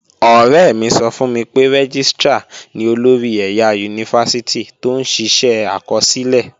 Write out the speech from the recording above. Ọ̀rẹ́ mi sọ fún mi pé Rẹ́gístrà ni olórí ẹ̀yà Yunifásítì tó ń ṣiṣẹ́ àkọsílẹ̀